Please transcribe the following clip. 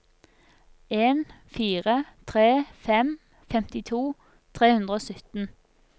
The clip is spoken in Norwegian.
en fire tre fem femtito tre hundre og sytten